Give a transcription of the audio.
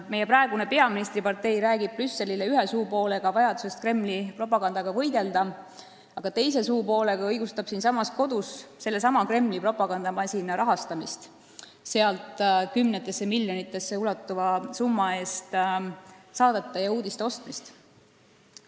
Meie praegune peaministripartei räägib ühe suupoolega Brüsselile vajadusest Kremli propagandaga võidelda, aga teise suupoolega õigustab siin kodus sellesama Kremli propagandamasina rahastamist, sealt kümnetesse miljonitesse ulatuva summa eest saadete ja uudiste ostmist.